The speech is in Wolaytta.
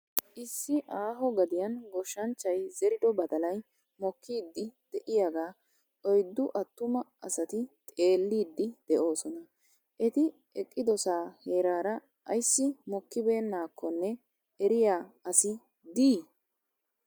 Issi aaho gadiyan goshshanchchay zerido badalay mokkiiddi de'iyaagaa oyiddu attuma asati xeelliiddi de'oosona. Eti eqqidosaa heeraara ayissi mokkibeennaakko eriya asi di?